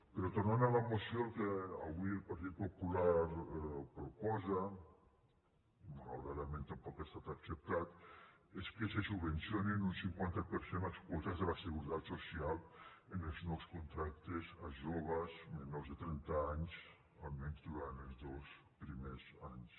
però tornant a la moció el que avui el partit popular proposa i malauradament tampoc ha estat acceptat és que se subvencionin en un cinquanta per cent les quotes de la seguretat social en els nous contractes a joves menors de trenta anys almenys durant els dos primers anys